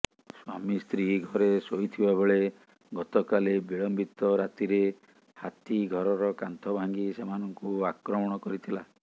ସ୍ୱାମୀସ୍ତ୍ରୀ ଘରେ ଶୋଇଥିବା ବେଳେ ଗତକାଲି ବିଳମ୍ବିତ ରାତିରେ ହାତୀ ଘରର କାନ୍ଥ ଭାଙ୍ଗି ସେମାନଙ୍କୁ ଆକ୍ରମଣ କରିଥିଲା